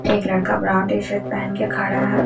एक लड़का brand T shirt पहन के खड़ा है।